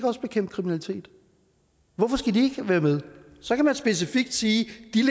også bekæmpe kriminalitet hvorfor skal de være med så kan man specifikt sige